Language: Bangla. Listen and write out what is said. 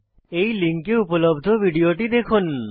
এই লিঙ্কে উপলব্ধ ভিডিওটি দেখুন